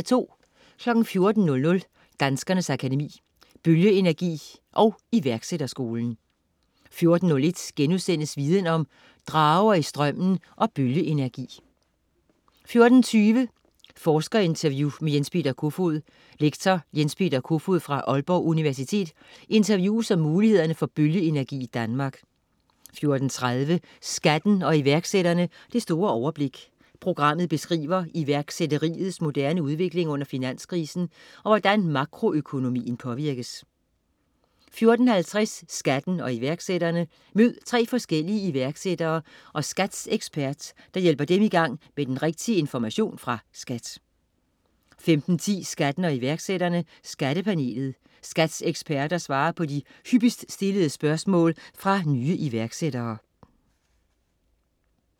14.00 Danskernes Akademi: Bølgeenergi & Iværksætterskolen 14.01 Viden Om: Drager i strømmen og bølgeenergi* 14.20 Forskerinterview med Jens Peter Kofoed. Lektor Jens Peter Kofoed fra Aalborg Universitet interviewes om mulighederne for bølgeenergi i Danmark 14.30 Skatten og iværksætterne: Det store overblik. Programmet beskriver iværksætteriets moderne udvikling under finanskrisen, og hvordan makroøkonomien påvirkes 14.50 Skatten og iværksætterne. Mød tre forskellige iværksætter og SKATs ekspert, der hjælper dem i gang med den rigtige information fra SKAT 15.10 Skatten og iværksætterne: Skattepanelet. SKATs eksperter svarer på de hyppigst stillede spørgsmål fra nye iværksættere